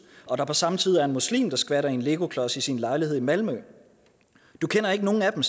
og der på samme tid er en muslim der skvatter i en legoklods i sin lejlighed i malmø du kender ikke nogen af dem